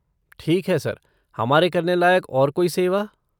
ठीक है सर, हमारे करने लायक और कोई सेवा?